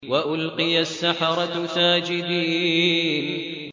وَأُلْقِيَ السَّحَرَةُ سَاجِدِينَ